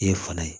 I ye fana ye